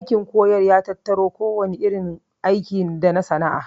Aikin koyar ya tattaro kowane irin aiki dasana'a